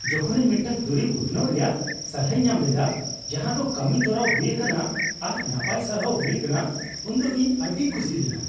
ᱡᱚᱠᱷᱚᱱ ᱤᱧ ᱢᱤᱫᱴᱟᱝ ᱫᱩᱨᱤᱵᱽ ᱩᱛᱱᱟᱹᱣ ᱨᱮᱭᱟᱜ ᱥᱟᱞᱦᱟᱧ ᱮᱢ ᱞᱮᱫᱟ ᱡᱟᱦᱟᱸᱫᱚ ᱠᱟᱹᱢᱤ ᱛᱚᱨᱟᱣ ᱦᱩᱭ ᱟᱠᱟᱱᱟ ᱟᱨ ᱱᱟᱯᱟᱭ ᱥᱟᱨᱦᱟᱣ ᱦᱩᱭ ᱟᱠᱟᱱᱟ ᱩᱱᱫᱚ ᱤᱧ ᱟᱹᱰᱤᱧ ᱠᱩᱥᱤ ᱞᱮᱱᱟ ᱾